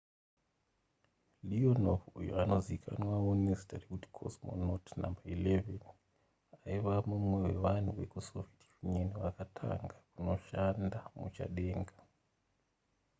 leonov uyo anozivikanwawo nezita rekuti cosmonaut no 11 aiva mumwe wevanhu vekusoviet union vakatanga tanga kunoshanda muchadenga